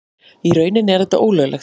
Í rauninni er þetta ólöglegt.